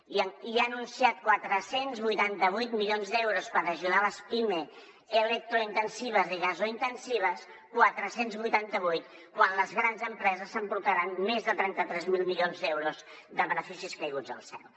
i ja ha anunciat quatre cents i vuitanta vuit milions d’euros per ajudar les pimes electrointensives i gasointensives quatre cents i vuitanta vuit quan les grans empreses s’emportaran més de trenta tres mil milions d’euros de beneficis caiguts del cel